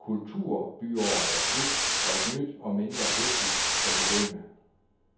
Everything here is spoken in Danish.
Kulturbyåret er slut, og et nyt og mindre hektisk kan begynde.